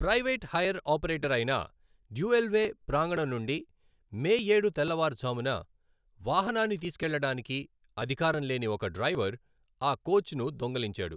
Private hire operator అయిన Dualway ప్రాంగణం నుండి మే ఏడు తెల్లవారుజామున వాహనాన్ని తీసుకెళ్లడానికి అధికారం లేని ఒక డ్రైవర్ ఆ కోచ్ను దొంగిలించాడు.